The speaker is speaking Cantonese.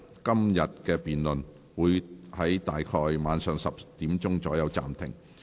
今天的辯論會在晚上10時左右暫停。